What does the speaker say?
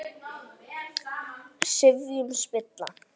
sifjum spilla